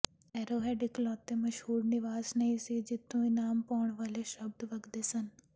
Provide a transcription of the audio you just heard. Arrowhead ਇਕਲੌਤਾ ਮਸ਼ਹੂਰ ਨਿਵਾਸ ਨਹੀਂ ਸੀ ਜਿੱਥੋਂ ਇਨਾਮ ਪਾਉਣ ਵਾਲੇ ਸ਼ਬਦ ਵਗਦੇ ਸਨ